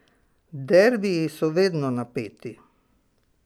Derbiji so vedno napeti.